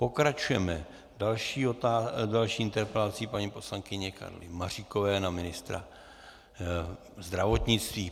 Pokračujeme další interpelací - paní poslankyně Karly Maříkové na ministra zdravotnictví.